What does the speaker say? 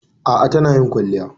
A'a tana yin kwalliya.